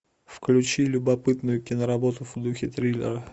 включи любопытную киноработу в духе триллера